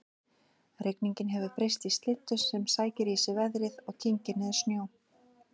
Rigningin hefur breyst í slyddu sem sækir í sig veðrið og kyngir niður snjó